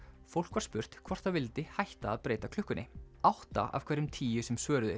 fólk var spurt hvort það vildi hætta að breyta klukkunni átta af hverjum tíu sem svöruðu